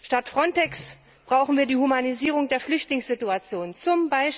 Statt FRONTEX brauchen wir die Humanisierung der Flüchtlingssituation, z.